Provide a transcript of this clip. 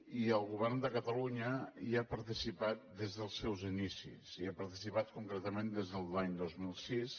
i el govern de catalunya hi ha participat des dels seus inicis hi ha participat concretament des de l’any dos mil sis